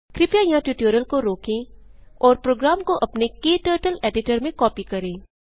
कृपया यहाँ ट्यूटोरियल को रोकें और प्रोग्राम को अपने क्टर्टल के एडिटर में कॉपी करें